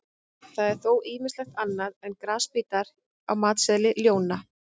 Það er þó ýmislegt annað en grasbítar á matseðli ljóna.